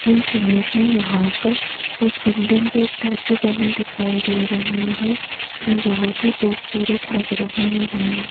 इस इमेज में यहां पर कुछ बिल्डिंग स्टेच्यू बने दिखाई दे रहे हैं जो बहोत ही खूबसूरत लग रहे हैं।